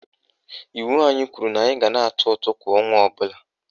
Iwu anyị kwuru na anyị ga na-atụ ụtụ kwa ọnwa ọbụla